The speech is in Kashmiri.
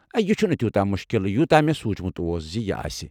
یہِ چھُنہٕ تیوٗتاہ مُشکِل یوٗتاہ مےٚ سونٛچمُت اوس زِ یہِ آسہِ۔